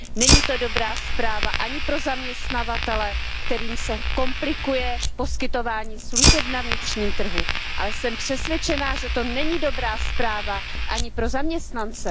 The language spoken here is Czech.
Není to dobrá zpráva ani pro zaměstnavatele, kterým se komplikuje poskytování služeb na vnitřním trhu, ale jsem přesvědčena, že to není dobrá zpráva ani pro zaměstnance.